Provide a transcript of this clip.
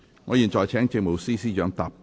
我現在請政務司司長答辯。